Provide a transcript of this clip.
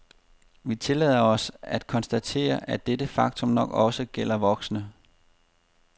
Vi tillader os at konstatere, at dette faktum nok også gælder voksne.